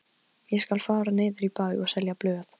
Ég skal fara niður í bæ og selja blöð.